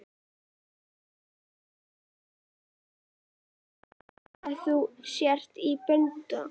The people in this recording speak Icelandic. Svo kann að heita að þú sért í böndum.